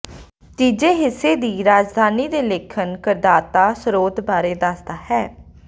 ਤੀਜੇ ਹਿੱਸੇ ਦੀ ਰਾਜਧਾਨੀ ਦੇ ਲੇਖਣ ਕਰਦਾਤਾ ਸਰੋਤ ਬਾਰੇ ਦੱਸਦਾ ਹੈ